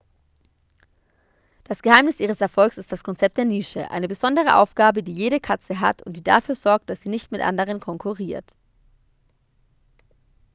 das geheimnis ihres erfolgs ist das konzept der nische eine besondere aufgabe die jede katze hat und die dafür sorgt dass sie nicht mit anderen konkurriert